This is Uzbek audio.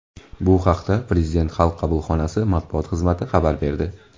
Bu haqda Prezident xalq qabulxonasi matbuot xizmati xabar berdi.